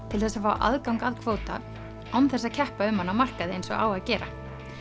til þess að fá aðgang að kvóta án þess að keppa um hann á markaði eins og á að gera